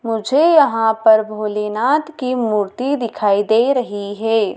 मुझे यहाँ पर भोलेनाथ की मूर्ति दिखाई दे रही है।